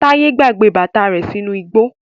Taye gbàgbé bàtà rẹ sínú igbó.